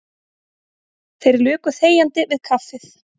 Þeir luku þegjandi við kaffið.